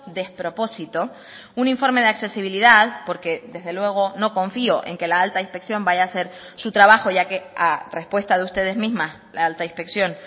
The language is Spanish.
despropósito un informe de accesibilidad porque desde luego no confío en que la alta inspección vaya a hacer su trabajo ya que a respuesta de ustedes mismas la alta inspección